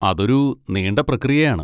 അതൊരു നീണ്ട പ്രക്രിയയാണ്.